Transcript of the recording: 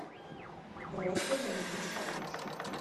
просьба заменить подушку